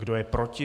Kdo je proti?